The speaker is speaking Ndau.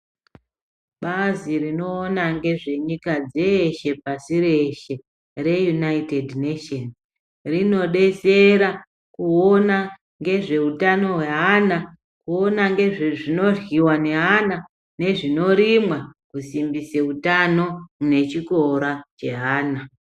Bazi rinowona ngezvenyika dzeshe pashi reshe, reUnited Nations rinodetsera kuwona ngezvehutano hweana, kuwona ngezvinodyiwa ngeana nezvinorimwa kusimbise hutano nechikora cheana.